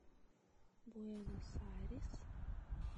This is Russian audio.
буэнос айрес